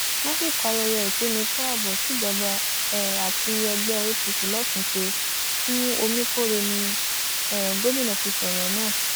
lásìkò ayẹyẹ ìkíni kù ààbò tíjọba um àti ẹgbẹ apc losun ṣe fún omikórè ni um gómìnà ti sọrọ náà